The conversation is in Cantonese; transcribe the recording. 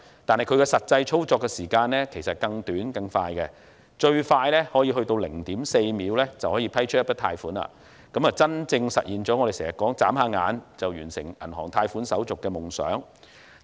但是，它的實際操作時間其實更短更快，最快可以在 0.4 秒批出一筆貸款，真正實現了我們經常說的，"眨下眼"就完成銀行貸款手續的夢想。